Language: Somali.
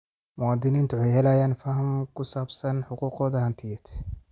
Muwaadiniintu waxay helayaan faham ku saabsan xuquuqdooda hantiyeed.